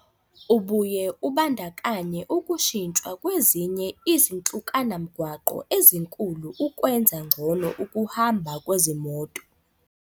Ubuye ubandakanye ukushintshwa kwezinye izanhlukanamgwaqo ezinkulu ukwenza ngcono ukuhamba kwezimoto.